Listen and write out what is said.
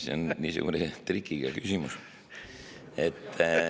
See on niisugune trikiga küsimus.